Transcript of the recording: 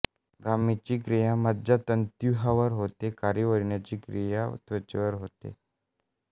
ब्राह्मीची क्रिया मज्जातंतूव्यूहावर होते व कारिवण्याची क्रिया त्वचेवर होते